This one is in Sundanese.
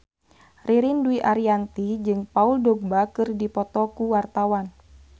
Ririn Dwi Ariyanti jeung Paul Dogba keur dipoto ku wartawan